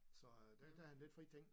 Så øh der gav han lidt frie ting